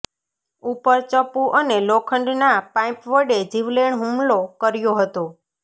ઉપર ચપ્પુ અને લોખંડના પાઇપ વડે જીવલેણ હુમલો કર્યો હતો